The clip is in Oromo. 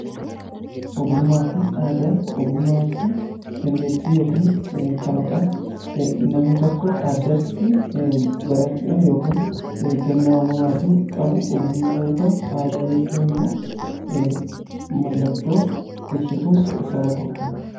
ogummaa fi aada ogummaa jechuun dandeetti yookiin kalaqaa namni tokko addatti barachuudhan yookiin kennaa umamaatin qabu ogummaa yoo ta'u aadaa jechuun immoo mallattoo ibsituu saba tokkooti.